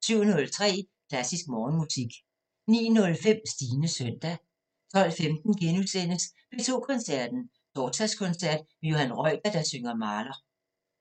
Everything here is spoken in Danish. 07:03: Klassisk Morgenmusik 09:05: Stines søndag 12:15: P2 Koncerten – Torsdagskoncert med Johan Reuter, der synger Mahler